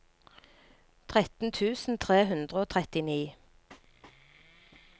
tretten tusen tre hundre og trettini